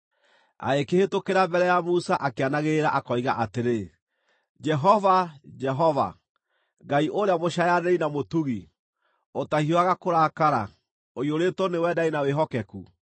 Agĩkĩhĩtũkĩra mbere ya Musa akĩanagĩrĩra akoiga atĩrĩ, “Jehova, Jehova, Ngai ũrĩa mũcaayanĩri na mũtugi, ũtahiũhaga kũrakara, ũiyũrĩtwo nĩ wendani na wĩhokeku,